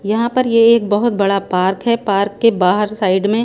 यहाँ पर ये एक बहुत बड़ा पार्क हैं पार्क के बाहर साइड में--